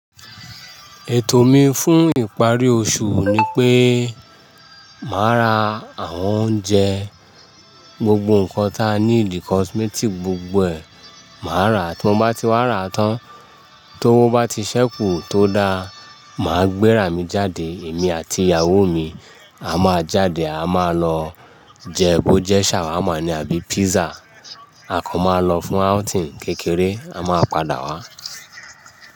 Ètò mi fún ìparí oṣù ni pé màá ra àwọn oúnjẹ, gbogbo ǹkan ta níìdí cosmetic gbogbo ẹ̀ màá rà á tí mo bá ti wá rà á tán tówó bá ti ṣẹ́kù tó da, màá gbéra mi jáde èmi àti ìyàwó mi. A máa jáde a máa lọ jẹ bó jẹ ṣàwámà ní àbí pizza, a kàn máa lọ fún outing kékeré a máa padà wá.